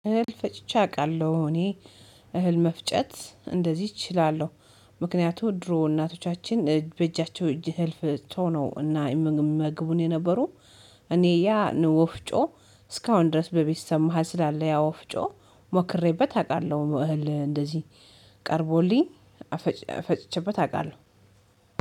እህል ፈጭቼ አውቃለሁ እኔ እህል መፍጨት እንደዚህ እችላለሁ። ምክንያቱም ድሮ እናቶቻችን በእጃቸው ፈጭተው ነው እና ይመግቡን የነበሩት። እኔ ያን ወፍጮ እስካሁን ድረስ በቤተሰብ መሃል ስላለ ያ ወፍጮ ሞክሬበት አውቃለሁ። እህል እንደዚህ ቀርቦልኝ ፈጭቼበት አውቃለሁ